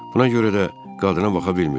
Buna görə də qadına baxa bilmirdim.